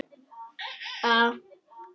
Hún er svo mjúk.